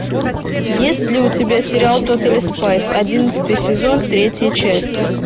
есть ли у тебя сериал тотали спайс одиннадцатый сезон третья часть